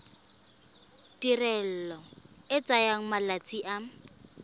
tirelo e tsaya malatsi a